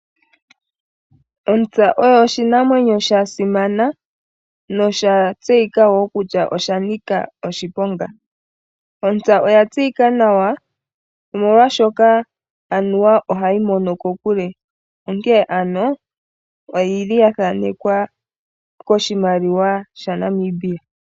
Ontsa oyo oshinanwenyo shasimana noshatseyika kutya osha nika wo oshiponga. Oya tseyika nawa molwaashono ohayi mono kokule onkene ano oyathaanekwa koshimaliwa shaNamibia.